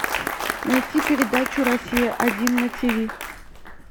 найти передачу россия один на тиви